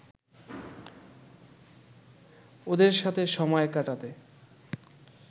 ওদের সাথে সময় কাটাতে